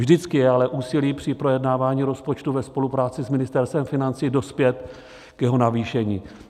Vždycky je ale úsilí při projednávání rozpočtu ve spolupráci s Ministerstvem financí dospět k jeho navýšení.